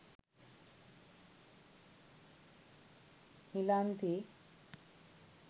nilanthi